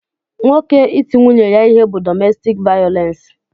Nwoke iti nwunye ya ihe bu dọmestik vayolensi.